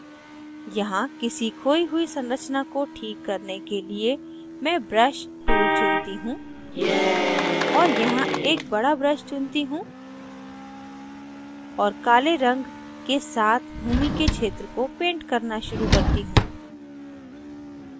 यहाँ किसी खोयी हुई संरचना को ठीक करने के लिए मैं brush tool चुनती choose और यहाँ एक बड़ा brush चुनती choose और काले रंग के साथ भूमि के क्षेत्र को पेंट करना शुरू करती choose